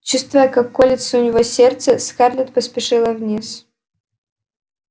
чувствуя как колется у него сердце скарлетт поспешила вниз